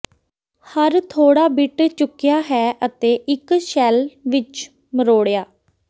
ਹਰ ਥੋੜ੍ਹਾ ਬਿੱਟ ਚੁਕਿਆ ਹੈ ਅਤੇ ਇੱਕ ਸ਼ੈੱਲ ਵਿੱਚ ਮਰੋੜਿਆ